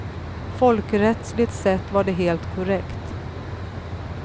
Folkrättsligt sett var det helt korrekt.